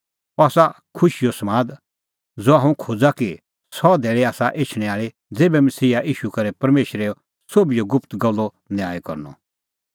अह आसा सह खुशीओ समाद ज़हा हुंह खोज़ा कि सह धैल़ी आसा एछणैं आल़ी ज़ेभै मसीहा ईशू करै परमेशरा सोभिए गुप्त गल्लो न्याय करनअ